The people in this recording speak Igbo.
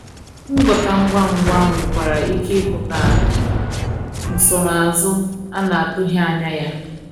ngwọta ngwa ngwa nwekwara ike ipụta nsonaazu a na-atughi anya ya